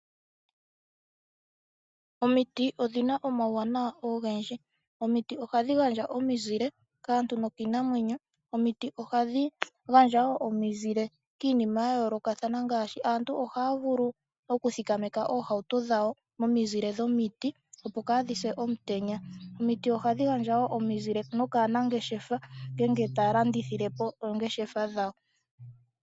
Omiti odhi na omawuwanawa ogendji. Omiti ohadhi gandja omizile kaantu nokiinamwenyo. Omiti ohadhi gandja wo omizile kiinima ya yoolokathana, ngaashi aantu ohaya vulu okuthikameka oohauto dhawo momizile dhomiti opo kaadhi se omutenya. Omiti ohadhi gandja wo omizile nokaanangeshefa ngele taya landithile po poongeshefa dhawo.